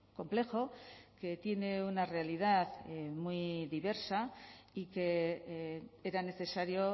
complejo que tiene una realidad muy diversa y que era necesario